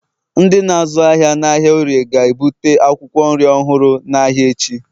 Ndị na-azụ ahịa n'ahịa oriire ga-ebute akwụkwọ nri ọhụrụ n'ahịa echi